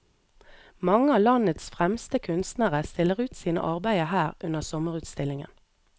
Mange av landets fremste kunstnere stiller ut sine arbeider her under sommerutstillingen.